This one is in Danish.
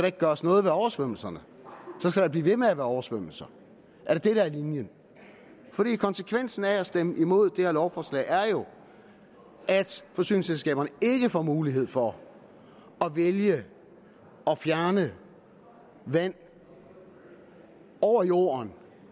ikke gøres noget ved oversvømmelserne så skal der blive ved med at være oversvømmelser er det linjen konsekvensen af at stemme imod det her lovforslag er jo at forsyningsselskaberne ikke får mulighed for at vælge at fjerne vand over jorden